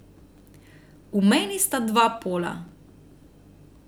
V meni sta dva pola.